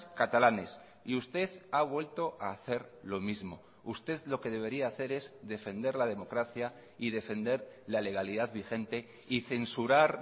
catalanes y usted ha vuelto a hacer lo mismo usted lo que debería hacer es defender la democracia y defender la legalidad vigente y censurar